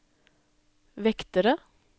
vektere